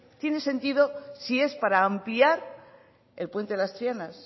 tiene sentido si es para ampliar el puente de las trianas